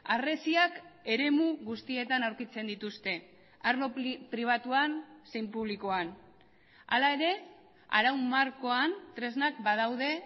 harresiak eremu guztietan aurkitzen dituzte arlo pribatuan zein publikoan hala ere arau markoan tresnak badaude